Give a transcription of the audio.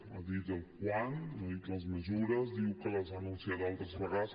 m’ha dit el quan no ha dit les mesures diu que les ha anunciat altres vegades